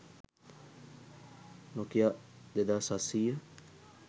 nokia 2700